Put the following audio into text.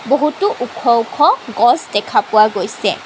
বহুতো ওখ ওখ গছ দেখা পোৱা গৈছে।